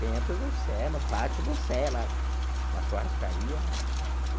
Dentro do Sena, no pátio do Sena, na churrascaria, né? Uhum.